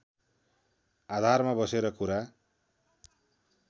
आधारमा बसेर कुरा